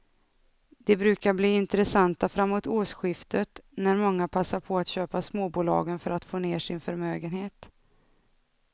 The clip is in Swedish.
De brukar bli intressanta framåt årsskiftet när många passar på att köpa småbolagen för att få ner sin förmögenhet.